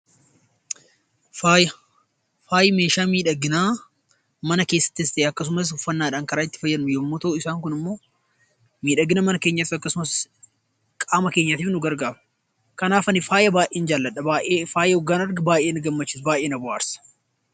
Faaya jechuun meeshaa miidhaginaa mana keessatti yookaan uffannaadhaan karaa itti fayyadamnu yemmuu ta'u isaan Kunis immoo miidhaginaa mana keenyaa akkasumas qaama keenyaaf nu gargaaru.